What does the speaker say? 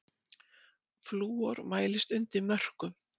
Flúor mælist undir mörkum